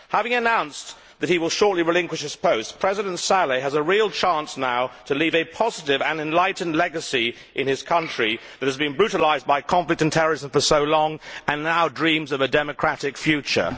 Having announced that he will shortly relinquish his post, President Saleh has a real chance now to leave a positive and enlightened legacy in his country, which has been brutalised by conflict and terrorism for so long and now dreams of a democratic future.